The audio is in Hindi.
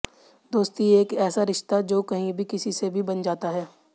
दोस्ती एक ऐसा रिश्ता जो कहीं भी किसी से भी बन जाता है